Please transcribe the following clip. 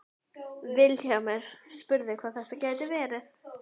Vilhjálmur spurði hvað þetta gæti verið.